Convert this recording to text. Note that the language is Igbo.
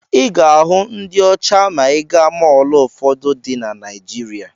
Ị ga-ahụ ndị ọcha ma ị gaa mọọlụ ụfọdụ dị na Naijiria.